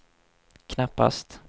knappast